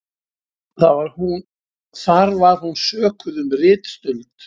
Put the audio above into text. Þar var hún sökuð um ritstuld